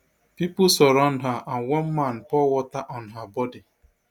pipo surround her and one man pour water on her bodi